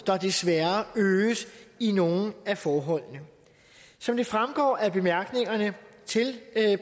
der desværre øges i nogle af forholdene som det fremgår af bemærkningerne til